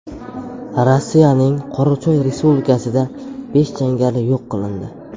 Rossiyaning Qorachoy respublikasida besh jangari yo‘q qilindi.